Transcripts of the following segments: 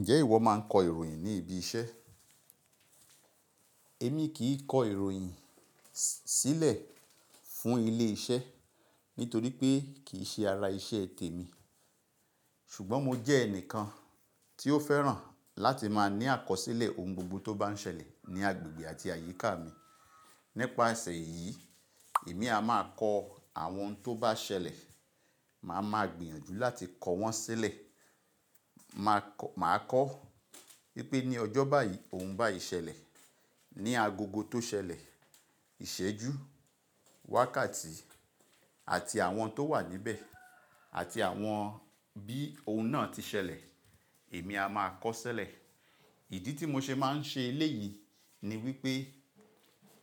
Ǹjẹ́ ìwọ máa ń kọ ìròyìn ní ibi iṣẹ́? Èmi kì í kọ ìròyìn sílẹ̀ fún ilé-iṣẹ́ nítorí pé kì í ṣe ara iṣẹ́ tèmi. Ṣùgbọ́n mo jẹ́ ẹnìkan tí ó fẹ́ràn láti máa ní àkọsílẹ̀ ohun gbogbo tó bá ń ṣẹlẹ̀ ní agbègbè àti àyíká mi. Nípasè yìí, èmi á máa kọ àwọn tó bá ṣẹlẹ̀, màá máa gbìyànjú láti kọ wọ́n sílẹ̀. Màá kọ, màá kọ wípé ní ọjọ́ báyìí ohun báyìí ṣẹlẹ̀, ní agogo tó ṣẹlẹ̀, ìṣẹ́jú, wákàtí àti àwọn tó wà níbẹ̀ àti àwọn bí ohun náà ti ṣẹlẹ̀, èmi á máa kọ sílẹ̀. Ìdí tí mo ṣe máa ń ṣe eléyìí ni wípé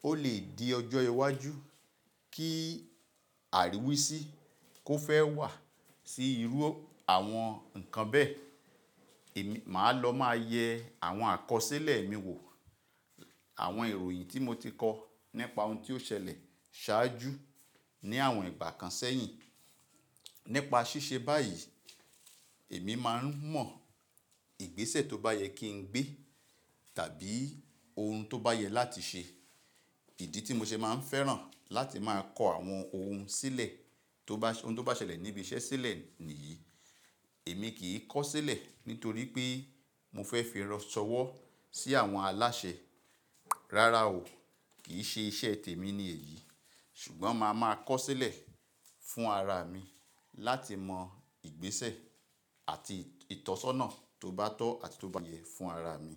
ó lè di ọjọ́ iwájú kí àríwísí kó fẹ́ wà sí irú àwọn ǹkan bẹ́ẹ̀, èmi máa lọ máa yẹ àwọn àkọsílẹ̀ mi wò. Àwọn ìròyìn tí mo ti kọ nípa ohun tí ó ṣẹlẹ̀ ṣáájú ní àwọn ìgbà kan sẹ́yìn. Nípa ṣíṣe báyìí, èmi máa ń mọ ìgbésẹ̀ tó bá yẹ kí n gbé tàbí ohun tó bá yẹ láti ṣe. Ìdí tí mo ṣe máa ń fẹ́ràn láti máa kọ àwọn ohun sílẹ̀ tó bá, ohun tó bá ṣẹlẹ̀ níbi iṣẹ́ sílẹ̀ nìyí. Èmi kì í kọ sílẹ̀ nítorí pé mo fẹ́ fi ránṣọwọ́ sí àwọn aláṣẹ. Rárá o, kì í ṣe iṣẹ́ tèmi ni èyí. Ṣùgbọ́n màá máa kọ sílẹ̀ fún ara mi láti mọ ìgbésẹ̀ àti ìtọ́sọ́nà tó bá tọ́ àti tó bá yẹ fún ara mi.